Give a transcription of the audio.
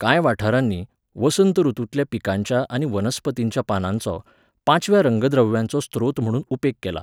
कांय वाठारांनी, वसंत ऋतूंतल्या पिकांच्या आनी वनस्पतींच्या पानांचो, पाचव्या रंगद्रव्याचो स्त्रोत म्हूण उपेग केला.